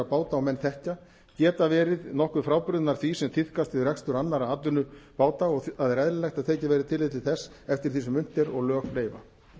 menn þekkja geta verið nokkuð frábrugðnar því sem tíðkast við rekstur annarra atvinnubáta og það er eðlilegt að tekið verði tillit til þess eftir því sem unnt er og lög leyfa